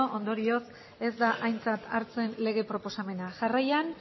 ondorioz ez da aintzat hartzen lege proposamena jarraian